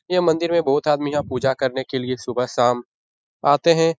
ये मंदिर मे बहुत आदमी यहां पुजा करने के लिए सुबह-शाम आते हैं।